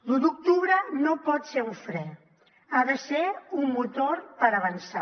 l’u d’octubre no pot ser un fre ha de ser un motor per avançar